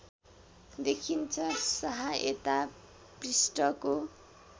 देखिन्छ सहायता पृष्ठको